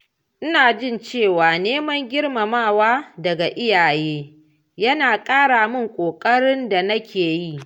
Ina jin cewa neman girmamawa daga iyaye yana ƙara min ƙoƙarin da na ke yi.